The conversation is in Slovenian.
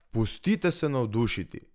Pustite se navdušiti!